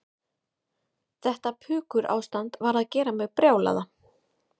Þetta pukurástand var að gera mig brjálaða.